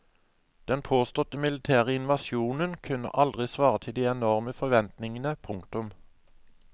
Den påståtte militære invasjonen kunne aldri svare til de enorme forventningene. punktum